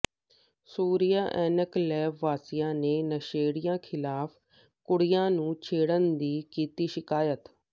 Surya enclave ਵਾਸੀਆਂ ਨੇ ਨਸ਼ੇੜੀਆਂ ਖਿਲਾਫ਼ ਕੁੜੀਆਂ ਨੂੰ ਛੇੜਨ ਦੀ ਕੀਤੀ ਸ਼ਿਕਾਇਤ